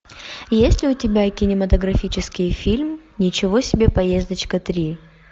есть ли у тебя кинематографический фильм ничего себе поездочка три